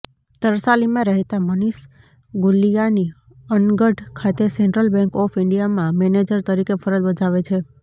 તરસાલીમાં રહેતાં મનિષ ગુલીયાની અનગઢ ખાતે Central Bank of ઈન્ડિયામાં મેનેજર તરીકે ફરજ બજાવે છે